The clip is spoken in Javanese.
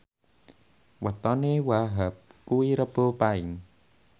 wetone Wahhab kuwi Rebo Paing